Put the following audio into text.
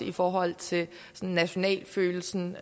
i forhold til nationalfølelsen